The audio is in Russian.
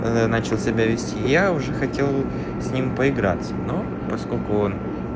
начал себя вести я уже хотел с ним поиграться но поскольку он